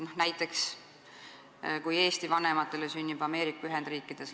Toon näite, kui Eesti vanematel sünnib laps Ameerika Ühendriikides.